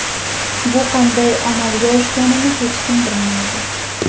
Bu qanday amalga oshganini hech kim bilmaydi.